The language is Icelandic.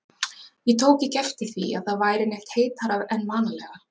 Ég tók ekki eftir því, að það væri neitt heitara en vanalega